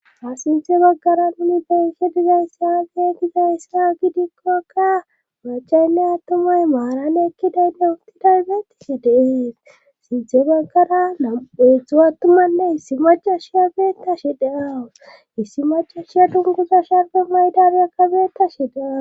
Ha sintze baggara nuni beyhe dizayssa gee gizayssa gidikkokka macaynne attumay maaran ekkidaynne uttidarbeetise deees sintze baggara nameetztdzu attumanne issi macashiya beetta shi daawu issi macashiya dunguza sharge maydabyakkabeetta shi deaw.